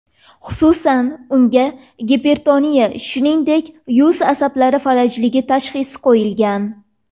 Xususan, unga gipertoniya, shuningdek, yuz asablari falajligi tashxisi qo‘yilgan.